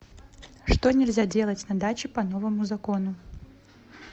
что нельзя делать на даче по новому закону